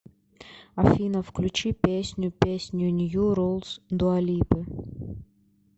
афина включи песню песню нью рулс дуалипы